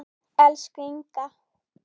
Elsku Inga.